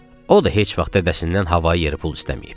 O da heç vaxt dədəsindən hava-yer pul istəməyib.